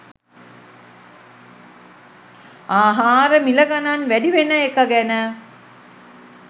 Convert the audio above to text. ආහාර මිල ගණන් වැඩිවෙන එක ගැන